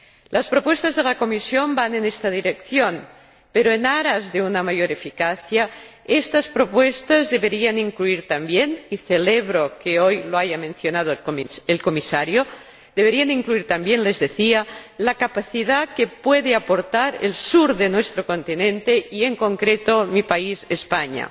Las propuestas de la Comisión van en esta dirección, pero en aras de una mayor eficacia estas propuestas deberían incluir también, y celebro que hoy lo haya mencionado el señor Comisario, deberían incluir también, les decía, la capacidad que puede aportar el sur de nuestro continente y, en concreto, mi país, España.